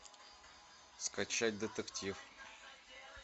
скачать детектив